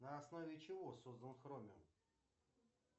на основе чего создан хромиум